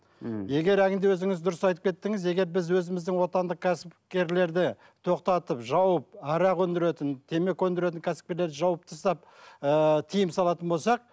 мхм егер өзіңіз дұрыс айтып кеттіңіз егер біз өзіміздің отандық кәсіпкерлерді тоқтатып жауып арақ өндіретін темекі өндіретін кәсіпкерлерді жауып тастап ыыы тыйым салатын болсақ